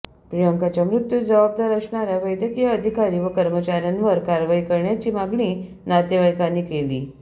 प्रियांकाच्या मृत्युस जबाबदार असणाऱया वैद्यकीय अधिकारी व कर्मचाऱयांवर कारवाई करण्याची मागणी नातेवाईकांनी केली